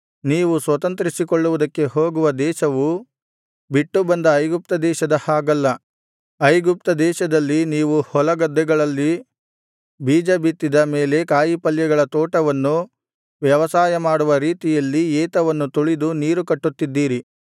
ನೀವು ಸ್ವತಂತ್ರಿಸಿಕೊಳ್ಳುವುದಕ್ಕೆ ಹೋಗುವ ದೇಶವು ಬಿಟ್ಟುಬಂದ ಐಗುಪ್ತದೇಶದ ಹಾಗಲ್ಲ ಐಗುಪ್ತದೇಶದಲ್ಲಿ ನೀವು ಹೊಲಗದ್ದೆಗಳಲ್ಲಿ ಬೀಜ ಬಿತ್ತಿದ ಮೇಲೆ ಕಾಯಿಪಲ್ಯಗಳ ತೋಟವನ್ನು ವ್ಯವಸಾಯ ಮಾಡುವ ರೀತಿಯಲ್ಲಿ ಏತವನ್ನು ತುಳಿದು ನೀರು ಕಟ್ಟುತ್ತಿದ್ದಿರಿ